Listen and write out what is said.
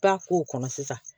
Taa k'o kɔnɔ sisan